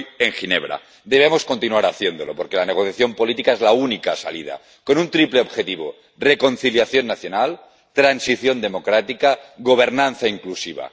Hoy, en Ginebra, debemos continuar haciéndolo, porque la negociación política es la única salida, con un triple objetivo reconciliación nacional, transición democrática, gobernanza inclusiva